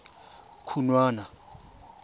khunwana